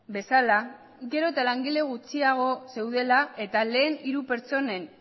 bezala gero eta langile gutxiago zeudela eta lehen hiru pertsonen